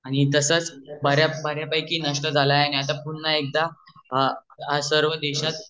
आणि तसच बर्यापैकी नष्ट झालेला आहे आणि आता पुन्हा एकदा हा सर्व देशात